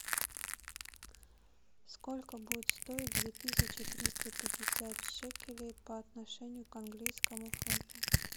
сколько будет стоить две тысячи триста пятьдесят шекелей по отношению к английскому фунту